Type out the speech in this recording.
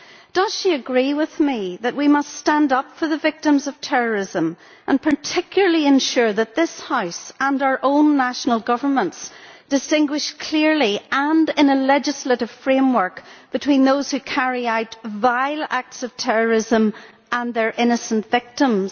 Does she agree with me that we must stand up for the victims of terrorism and particularly ensure that this House and our own national governments distinguish clearly, and in a legislative framework, between those who carry out vile acts of terrorism and their innocent victims?